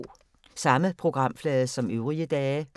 Samme programflade som øvrige dage